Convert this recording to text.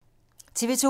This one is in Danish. TV 2